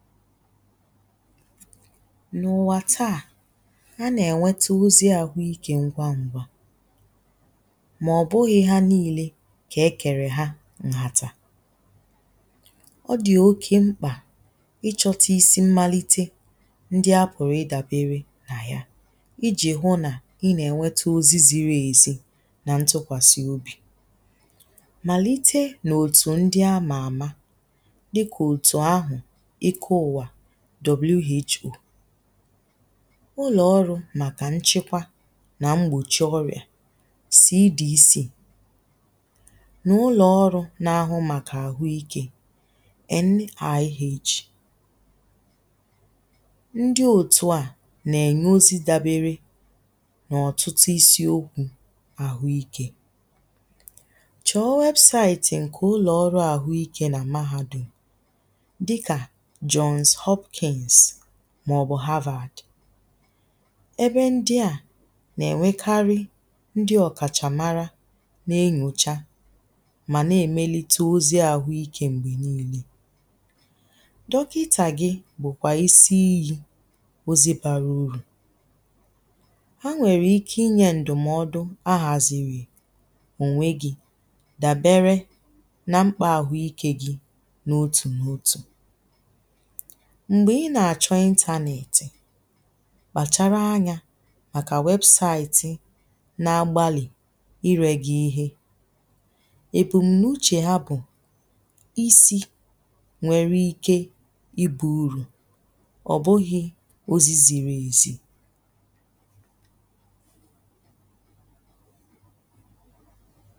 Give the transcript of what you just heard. nà ùwà taa a nà-ènweta ozi àhụ ikė ngwa ngwa mà ọ̀ bụghi ha niile kà ekèrè ha ǹhàtà ọ dì oke mkpà ichọta isi mmalite ndi a pụ̀rụ̀ idàbere nà ya ijì hụ nà i nà-ènwete ozi ziri èzi nà ntụkwàsì obì màlite nà òtù ndi a mààma dịkà òtù ahụ̀ w.h.o ụlọ̀ ọrụ̇ màkà nchekwa nà mgbòchi ọrịà sì edc n’ụlọ̀ ọrụ̇ na-ahụ màkà àhụ ikė n.i.h ndi òtù à nà-ènye ozi dabere n’ọ̀tụtụ isi okwu̇ àhụ ikė chọ̀ wẹ̀bụ̀saịtị̀ ǹkè ụlọ̀ ọrụ àhụ ikė nà mahadum màọ̀bụ̀ havad ebe ndi à nà-ènwekarị ndi ọ̀kàchà mara nà enyòcha mà nà-èmelite ozi àhụ ikė m̀gbè niilė dọkità gị̇ bụ̀kwà isi iyi̇ ozi bàrà urù ha nwèrè ike inyė ǹdụ̀mọdụ a hàzìrì ònwe gi dàbere na mkpà àhụ ikė gi n’otù n’otù m̀gbè ị nà-àchọ ịntȧnėtị̀ kpàchara anyȧ màkà wẹbụ̀saịtị na agbalị̀ irė gị́ ihe èbùm̀nuchè ha bụ̀ isi nwere ike ibù urù ọ̀ bụghị̇ ozi ziri èzi.